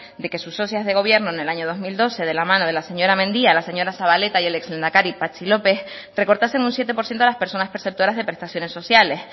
de que sus socias de gobierno en el año dos mil doce de la mano de la señora mendia la señora zabaleta y el ex lehendakari patxi lópez recortasen un siete por ciento a las personas perceptoras de prestaciones sociales